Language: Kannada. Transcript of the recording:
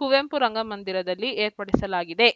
ಕುವೆಂಪು ರಂಗಮಂದಿರದಲ್ಲಿ ಏರ್ಪಡಿಸಲಾಗಿದೆ